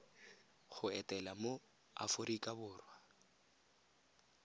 go etela mo aforika borwa